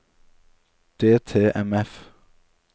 DTMF